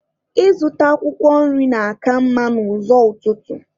Ịzụta akwụkwọ nri na-aka mma n'ụzọ ụtụtụ.